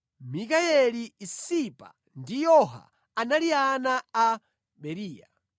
Mikayeli, Isipa ndi Yoha anali ana a Beriya.